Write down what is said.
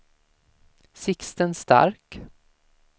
Sixten Stark